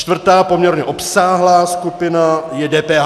Čtvrtá poměrně obsáhlá skupina je DPH.